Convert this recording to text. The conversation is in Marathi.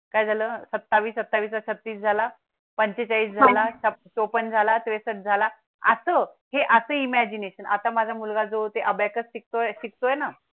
काय झालं सत्तावीस अठठावीस छत्तीस झाला पंचेचाळीस झाला चोपण झाला त्रेसस्थ झाला असतो हे असं Imagination आता माझा मुलगा जो ते अबॅकस शिक्तो शिक्तोय ना